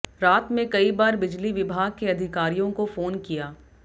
रात में कई बार बिजली विभाग के अधिकारियों को फोन किया